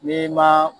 N'i ma